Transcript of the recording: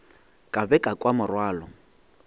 ka be ka kwa morwalo